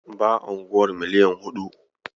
Baya unguwar miliyan huɗu.